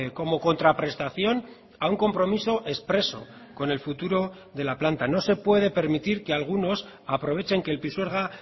como contraprestación a un compromiso expreso con el futuro de la planta no se puede permitir que algunos aprovechen que el pisuerga